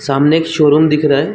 सामने एक showroom दिखा रहा हैं।